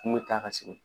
Kun bɛ taa ka segin